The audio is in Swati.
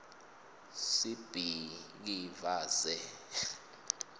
sibhikivaze